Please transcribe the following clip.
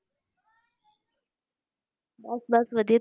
ਬਸ ਬਸ ਵਧੀਆ,